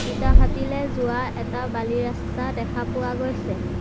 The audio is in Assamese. ইটা ভাটিলে যোৱা এটা বালি ৰাস্তা দেখা পোৱা গৈছে।